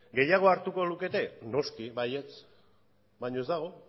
gehiago hartuko lukete noski baietz baina ez dago